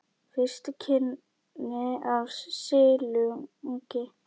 Fyrstu kynni af silungi